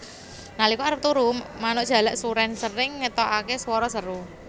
Nalika arep turu manuk jalak surèn sering ngetokaké swara seru